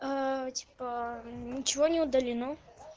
аа типа ничего не удалено